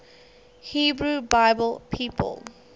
hebrew bible people